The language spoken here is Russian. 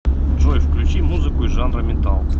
джой включи музыку из жанра метал